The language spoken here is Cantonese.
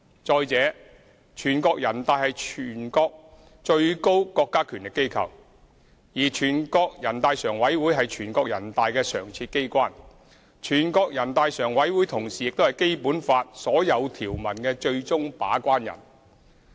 再者，全國人大是全國最高國家權力機關，全國人大常委會則是全國人大的常設機關，同時亦是《基本法》所有條文的最終把關人。